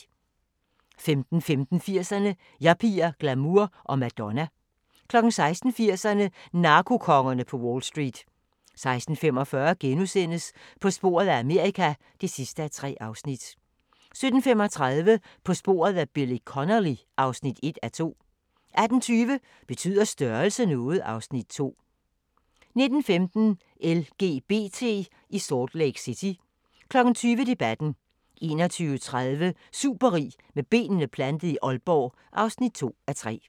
15:15: 80'erne: Yuppier, glamour og Madonna 16:00: 80'erne: Narkokongerne på Wall Street 16:45: På sporet af Amerika (3:3)* 17:35: På sporet af Billy Connolly (1:2) 18:20: Betyder størrelse noget? (Afs. 2) 19:15: LGBT i Salt Lake City 20:00: Debatten 21:30: Superrig med benene plantet i Aalborg (2:3)